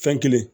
Fɛn kelen